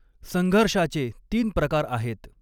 संघर्षाचे तीन प्रकार आहेत.